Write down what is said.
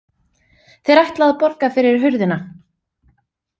Þeir ætla að borga fyrir hurðina